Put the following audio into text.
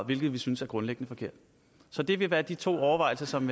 hvilket vi synes er grundlæggende forkert så det vil være de to overvejelser som